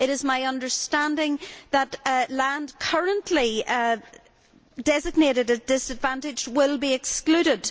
It is my understanding that land currently designated as disadvantaged will be excluded.